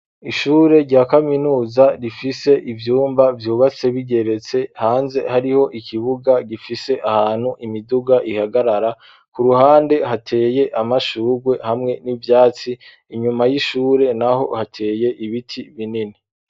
Ishure rya kaminuza rifise ivyumba vyubatse bigeretse hanze hariho ikibuga gifise ahantu imiduga ihagarara, ku ruhande hateye amashugwe hamwe n'ivyatsi inyuma y'ishure naho hateye ibiti binini.